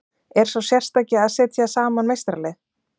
Er sá sérstaki að setja saman meistaralið?